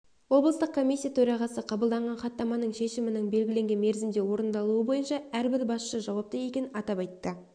облыстық комиссия төрағасы қабылданған хаттаманың шешімінің белгіленген мерзімде орындалуы бойынша әрбір басшы жауапты екенін атап айтты